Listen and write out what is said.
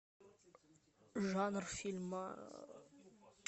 жанр фильма